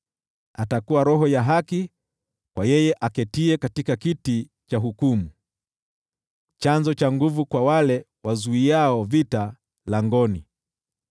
Atakuwa roho ya haki kwa yeye aketiye katika kiti cha hukumu, chanzo cha nguvu kwa wale wazuiao vita langoni.